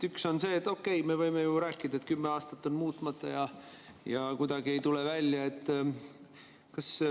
Üks on see, et okei, me võime ju rääkida, et kümme aastat on muutmata ja kuidagi ei tule välja.